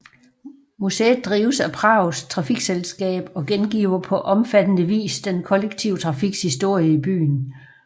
Museet drives af Prags trafikselskab og gengiver på omfattende vis den kollektive trafiks historie i byen